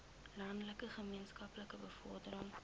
landelike gemeenskappe bevordering